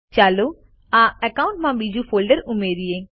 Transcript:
ચાલો આ એકાઉન્ટમાં બીજું ફોલ્ડર ઉમેરિયે